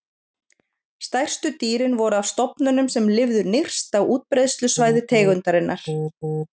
Stærstu dýrin voru af stofnunum sem lifðu nyrst á útbreiðslusvæði tegundarinnar.